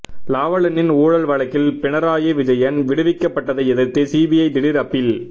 Lavalin ஊழல் வழக்கில் பினராயி விஜயன் விடுவிக்கப்பட்டதை எதிர்த்து சிபிஐ திடீர் அப்பீல்